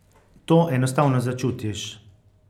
To enostavno začutiš.